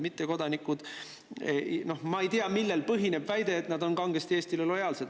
Ma ei tea, millel põhineb väide, et mittekodanikud on kangesti Eestile lojaalsed.